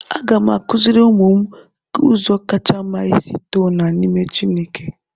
Aga m akụziri ụmụ m ụzọ kacha mma isi too na n'ime Chineke